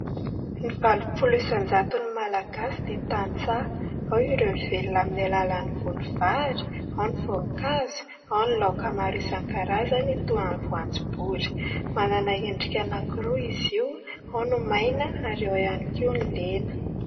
Ny valopolo isan-jato ny malagasy dia tantsaha. Ao ireo mivelona amin'ny alalan'ny voly vary, ao ny voninkazo, ao ny laoka maro isan-karazany toy ny voanjobory. Manana endrika anakiroa izy io : ao ny maina, ary ao ihany koa ny lena.